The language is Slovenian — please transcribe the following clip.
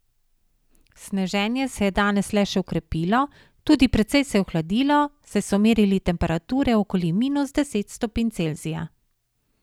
Sneženje se je danes le še okrepilo, tudi precej se je ohladilo, saj so merili temperature okoli minus deset stopinj Celzija.